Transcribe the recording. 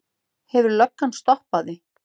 Hefur löggan stoppað þig?